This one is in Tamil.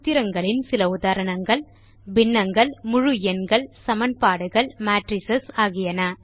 சூத்திரங்களின் சில உதாரணங்களாவன பின்னங்கள் முழு எண்கள் சமன்பாடுகள் மேட்ரிஸ் ஆகியன